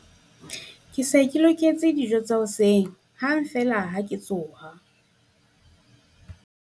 ke se ke loketse borakefese hang feela ha ke tsoha